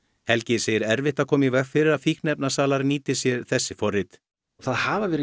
helgi segir erfitt að koma í veg fyrir að fíkniefnasalar nýti sér þessi forrit það hafa verið